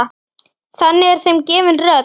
Þannig er þeim gefin rödd.